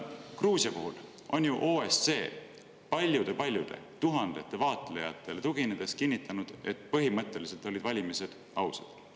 Gruusia puhul on ju OSCE paljudele, tuhandetele vaatlejatele tuginedes kinnitanud, et põhimõtteliselt olid valimised ausad.